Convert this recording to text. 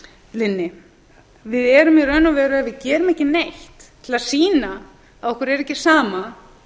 linni við erum í raun og veru ef við gerum ekki neitt til að sýna að okkur er ekki sama